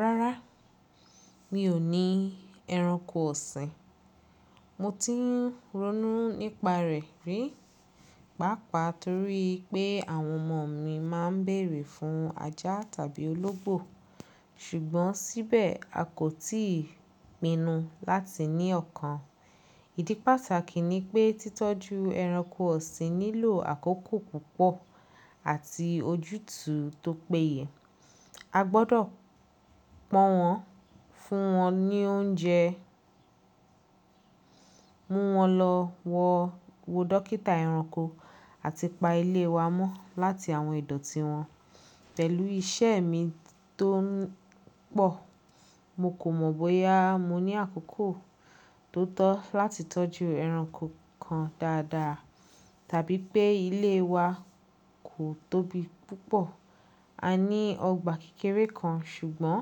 Rárá, mi ò ní ẹranko ọ̀sìn. Mo ti ń ronú nípa rẹ̀ rí, pàápàá torí pé àwọn ọmọ mi máa ń bèrè fún ajá tàbí ológbò. Ṣùgbọ́n síbẹ̀, a kò tíì pinnu láti ní ọ̀kan. Ìdí pàtàkì ni pé títọ́jú ẹranko ọ̀sìn nílò àkókò púpọ̀ àti ojútùú tó péye. A gbọ́dọ̀ pọ́n wọn, fún wọn ní oúnjẹ, mú wọn lọ wo dọ́kítà ẹranko àti pa ilé wa mọ́ láti àwọn ìdọ̀tí wọn. Pẹ̀lú iṣẹ́ mi tó ń pọ̀, mo kò mọ̀ bóyá mo ní àkókò tó tọ́ láti tọ́jú ẹranko kan dáadáa tàbí pé ilé wa kò tóbi púpọ̀. A ní ọgbà kékeré kan, ṣùgbọ́n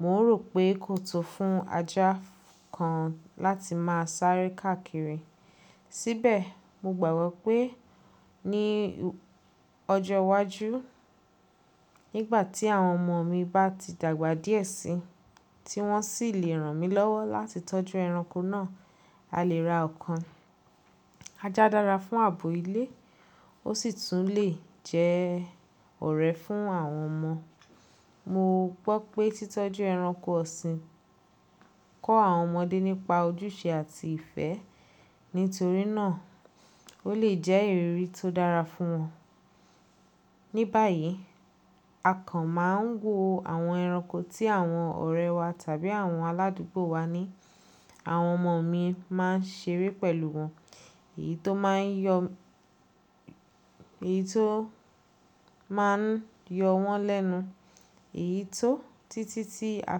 mo rò pé kò tó fún ajá kan láti máa sáré káàkiri. Síbẹ̀, mo gbàgbọ́ pé ní ọjọ́ iwájú, nígbà tí àwọn ọmọ mi bá ti dàgbà díẹ̀ síi, tí wọ́n sì le ràn mí lọ́wọ́ láti tọ́jú ẹranko náà, a lè ra ọ̀kan. Ajá dára fún ààbò ilé, ó sì tún lè jẹ́ ọ̀rẹ́ fún àwọn ọmọ. Mo gbọ́ pé títọ́jú ẹranko ọ̀sìn kọ́ àwọn ọmọdé nípa ojúṣe àti ìfẹ́. Nítorí náà, ó lè jẹ́ ìrírí tó dára fún wọn. Ní bayìí, a kan máa ń wo àwọn ẹranko tí àwọn ọ̀rẹ́ wa tàbí àwọn aládùúgbò wa ní. Àwọn ọmọ mi máa ń ṣeré pẹ̀lú wọn, èyí tó máa ń yọ wọ́n lẹ́nu, èyí tó títí tí a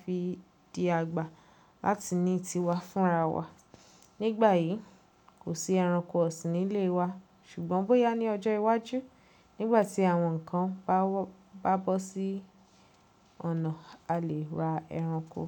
fi di àgbà láti ní tiwa fúnra wa. Nígbà yìí, kò sí ẹranko ọ̀sìn nílé wa, ṣùgbọ́n bóyá ní ọjọ́ iwájú, nígbà tí àwọn nǹkan bá bọ́ sí ọ̀nà, a lè ra ẹranko.